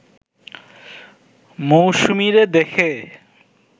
মৌসুমীরে দেখে